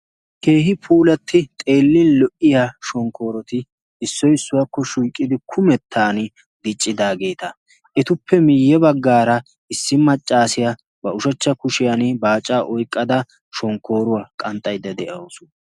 keehi puulatti xeellin lo77iya shonkkooroti issoi issuwaakko shuiqqidi kumettan diiccidaageeta etuppe miiyye baggaara issi maccaasiyaa ba ushachcha kushiyan baacaa oiqqada shonkkooruwaa qanxxaidda de7ausu